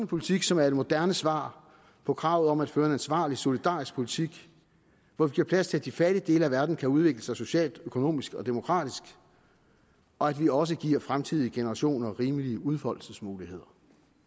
politik som er et moderne svar på kravet om at føre en ansvarlig solidarisk politik hvor vi giver plads til at de fattige dele af verden kan udvikle sig socialt økonomisk og demokratisk og vi også giver fremtidige generationer rimelige udfoldelsesmuligheder